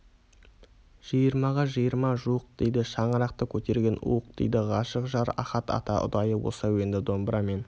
жиырмаға жиырма жуық дейді шаңырақты көтерген уық дейді ғашық жар ахат та ұдайы осы әуенді домбырамен